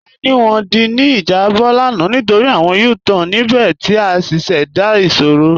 A ní wọn dí ní ijàbọ̀ lána nítorí awọn U-Tan níbẹ̀ ti a ṣíṣẹ́dá ìṣòro.